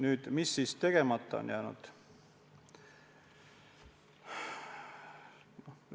Aga mis siis tegemata on jäänud?